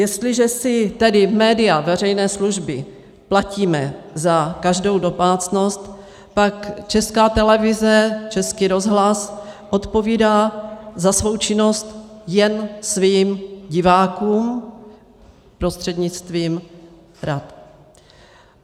Jestliže si tedy média veřejné služby platíme za každou domácnost, pak Česká televize, Český rozhlas odpovídá za svou činnost jen svým divákům prostřednictvím rad.